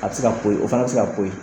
A bɛ se ka ko ye, o fana bi se ka ko ye.